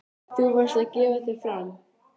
Þú varðst að gefa þig fram.